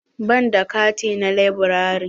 Ban da kati na laburare.